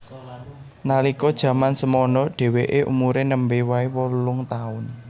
Nalika jaman semana dheweke umure nembe wae wolung taun